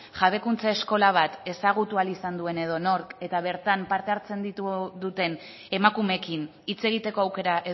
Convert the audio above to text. jabekuntza eskola bat ezagutu izan ahal duen edonork eta bertan parte hartzen duten emakumeekin hitz egiteko aukera